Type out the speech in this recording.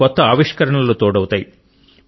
కొత్త ఆవిష్కరణలు తోడవుతాయి